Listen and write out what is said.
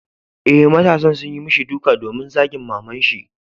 Eh, matasan sun yi mishi duka domin zagin maman shi.